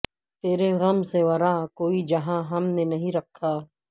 ترے غم سے ورا کوئی جہاں ہم نے نہیں رکھا